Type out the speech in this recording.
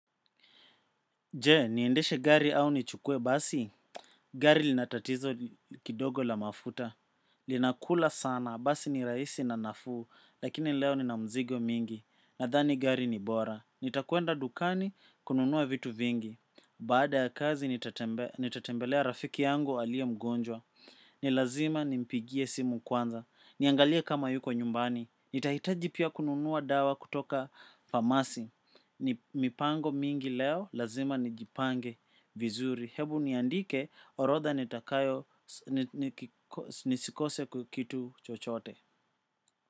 Je, niendeshe gari au nichukue basi? Gari lina tatizo kidogo la mafuta. Linakula sana, basi ni rahisi na nafuu, lakini leo nina mizigo mingi. Nadhani gari ni bora. Nitakwenda dukani, kununua vitu vingi. Baada ya kazi, nitatembelea rafiki yangu aliye mgonjwa. Ni lazima nimpigie simu kwanza. Niangalie kama yuko nyumbani. Nitahitaji pia kununua dawa kutoka famasi. Ni mipango mingi leo lazima nijipange vizuri. Hebu niandike orodha nisikose kitu chochote.